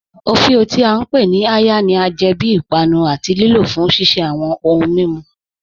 Ọfíọ, tí a ǹ pe ni "àya," ni a jẹ bí ìpànù àti lìlò fún ṣiṣẹ̀ awọn ọ̀hùǹ mímú.